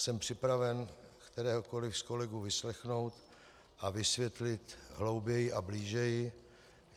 Jsem připraven kteréhokoliv z kolegů vyslechnout a vysvětlit hlouběji a blíže.